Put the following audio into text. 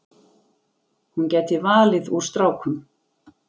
Hún gæti valið úr strákum.